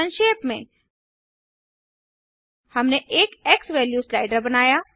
संक्षेप में हमने एक एक्सवैल्यू स्लाइडर बनाया